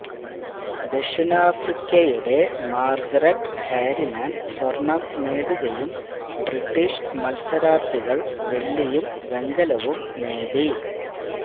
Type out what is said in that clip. ദക്ഷിണാഫ്രിക്കയുടെ Margaret Harriman സ്വർണം നേടുകയും British മത്സരാർത്ഥികൾ വെള്ളിയും വെങ്കലവും നേടി